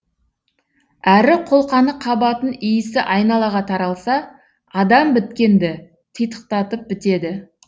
әрі қолқаны қабатын иісі айналаға таралса адам біткенді титықтатып бітеді